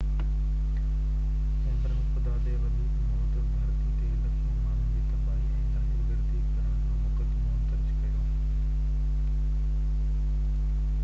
چيمبرن خدا تي وڌيڪ موت ڌرتي تي لکين ماڻهن جي تباهي ۽ دهشت گردي ڪرڻ جو مقدمو درج ڪيو